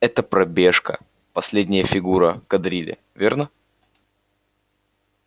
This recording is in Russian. эта пробежка последняя фигура кадрили верно